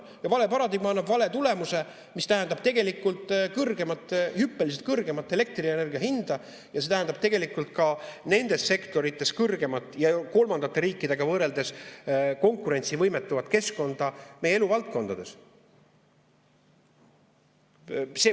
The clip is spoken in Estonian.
Ja vale paradigma annab vale tulemuse, mis tähendab kõrgemat, hüppeliselt kõrgemat elektrienergia hinda ja see tähendab tegelikult ka nendes sektorites kõrgemat ja kolmandate riikidega võrreldes konkurentsivõimetumat keskkonda meie eluvaldkondades.